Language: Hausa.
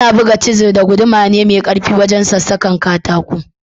Ana buga cisir da guduma ne wajen sassakar katako.